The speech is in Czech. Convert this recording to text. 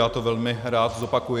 Já to velmi rád zopakuji.